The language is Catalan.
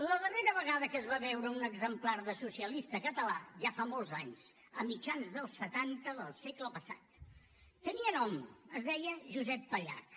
la darrera vegada que es va veure un exemplar de socialista català ja fa molts anys a mitjans dels setanta del segle passat tenia nom es deia josep pallach